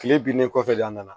Kile binnen kɔfɛ de an nana